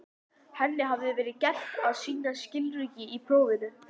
Henni hafði verið gert að sýna skilríki í prófinu.